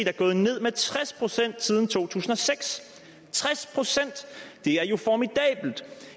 er gået ned med 60 siden to tusind og seks 60 det er jo formidabelt